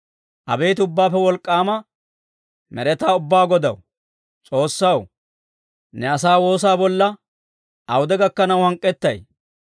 Abeet Ubbaappe Wolk'k'aama Med'etaa Ubbaa Godaw, S'oossaw, ne asaa woosaa bolla awude gakkanaw hank'k'ettay?